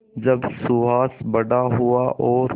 जब सुहास बड़ा हुआ और